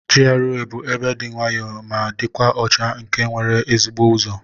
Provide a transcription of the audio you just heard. GRA bu ebe di nwayo ma dikwa ọcha nke nwere ezigbo uzọ.